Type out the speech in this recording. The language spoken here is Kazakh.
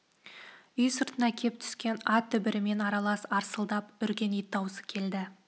үй сыртына кеп түскен ат дүбірімен аралас арсылдап үрген ит даусы келді